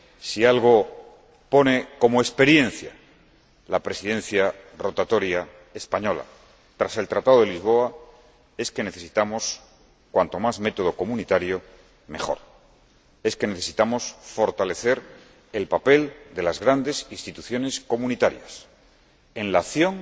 Si algo extrae como experiencia la Presidencia rotatoria española tras el Tratado de Lisboa, es que necesitamos cuanto más método comunitario mejor, es que necesitamos fortalecer el papel de las grandes instituciones comunitarias, en la acción